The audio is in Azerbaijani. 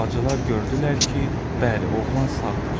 Bacılar gördülər ki, bəli, oğlan sağdır.